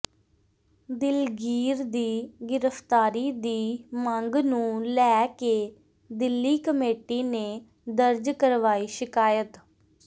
ਦਿਲਗੀਰ ਦੀ ਗਿ੍ਫ਼ਤਾਰੀ ਦੀ ਮੰਗ ਨੂੰ ਲੈ ਕੇ ਦਿੱਲੀ ਕਮੇਟੀ ਨੇ ਦਰਜ ਕਰਵਾਈ ਸ਼ਿਕਾਇਤ